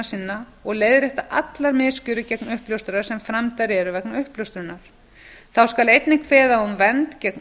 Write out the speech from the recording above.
sinna og leiðrétta allar misgjörðir gegn uppljóstrara sem framdar eru vegna uppljóstrunar þá skal einnig kveða á um vernd gegn